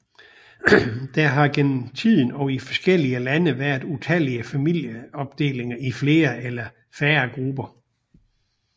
Der har gennem tiden og i forskellige lande været utallige familieopdelinger i flere eller færre grupper